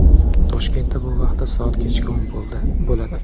Toshkentda bu vaqtda soat kechki o‘n bo‘ladi.